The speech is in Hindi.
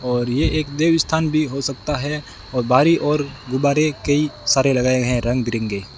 और ये एक देवी स्थान भी हो सकता है और बारी और गुब्बारे कई सारे लगाए हैं रंग बिरंगे।